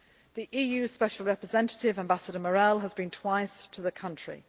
The EU Special Representative, Ambassador Morel, has been twice to the country.